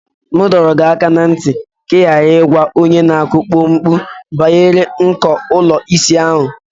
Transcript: M dọrọ gị aka ná ntị ka ị ghara ịgwa onye na-akụ pọmpụ banyere nko ụlọ ịsa ahụ.